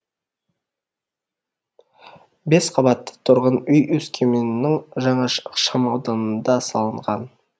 бес қабатты тұрғын үй өскеменнің жаңа ықшам ауданында салынған